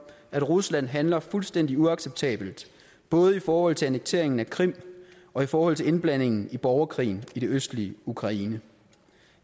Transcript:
at rusland handler fuldstændig uacceptabelt både i forhold til annekteringen af krim og i forhold til indblandingen i borgerkrigen i det østlige ukraine